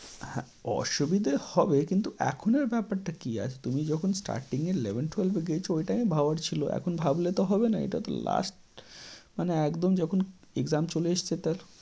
হ্যাঁ, অসুবিধে হবে কিন্তু এখন এর ব্যাপারটা কী? আচ্ছা তুমি যখন starting এ eleven-twelve এ গিয়েছো ওই time এ ভাবা উচিত ছিল, এখন ভাবলে তো হবেনা। এটা তো last মানে একদম যখন exam চলে এসেছে।